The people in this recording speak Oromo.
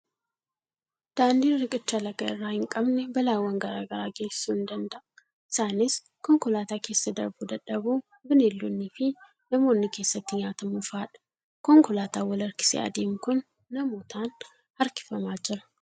Daandiin riqicha laga irraa hin qabne balaawwan garaa garaa geessisuu ni danda'a. Isaanis: konkolaataan keessa darbuu dadhabuu, bineeldonnii fi namoonni keessatti nyaatamuu fa'adha. Konkolaataan wal harkisee adeemu kun namootaan harkifamaa jira.